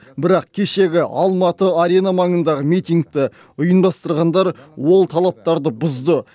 бірақ кешегі алматы арена маңындағы митингті ұйымдастырғандар ол талаптарды бұзды